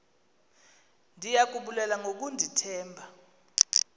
ndiya kubulela ngokundithemba